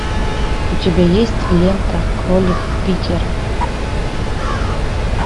у тебя есть лента кролик питер